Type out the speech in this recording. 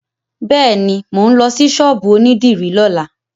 Bẹ́ẹ̀ni, mò ń lọ sí ṣọ́ọ̀bù onídìrí lọ́la.